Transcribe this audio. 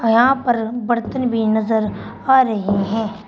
यहां पर बर्तन भी नजर आ रहे हैं।